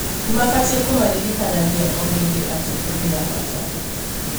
nĩmabatie kũmaririkanagia o hĩndĩ atĩ o nĩabata.